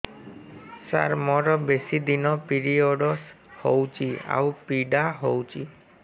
ସାର ମୋର ବେଶୀ ଦିନ ପିରୀଅଡ଼ସ ହଉଚି ଆଉ ପୀଡା ହଉଚି